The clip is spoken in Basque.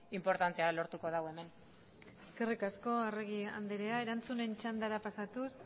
inportantea lortuko du hemen eskerrik asko arregi andrea erantzunen txandara pasatuz